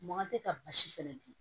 Mankan tɛ ka basi fɛnɛ dun